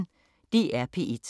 DR P1